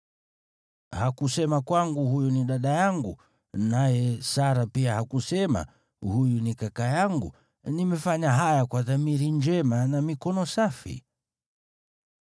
Hakusema kwangu, ‘Huyu ni dada yangu,’ naye Sara pia hakusema, ‘Huyu ni kaka yangu’? Nimefanya haya kwa dhamiri njema na mikono safi.”